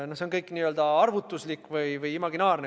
See kõik on n-ö arvutuslik või imaginaarne.